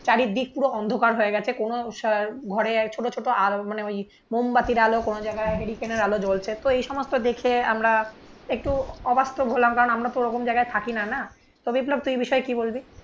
চারিদিক পুরো অন্ধকার হয়ে গেছে. কোন ঘরে ছোট ছোট মানে ওই মোমবাতির আলো কোনো জায়গায় হেরিকেনের আলো জ্বলছে. তো এই সমস্ত দেখে আমরা একটু অবাস্তব হলাম কারণ আমরা তো ওরকম জায়গায় থাকি না না? তো বিপ্লব তুই এই বিষয়ে কি বলবি?